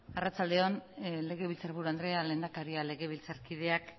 arratsalde on legebiltzarburu andrea lehendakaria legebiltzarkideak